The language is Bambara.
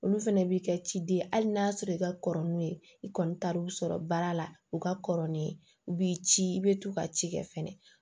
Olu fɛnɛ b'i kɛ ciden ye hali n'a y'a sɔrɔ i ka kɔrɔ n'u ye i kɔni taar'u sɔrɔ baara la u ka kɔrɔ ni ye u b'i ci i bɛ to ka ci kɛ fɛnɛ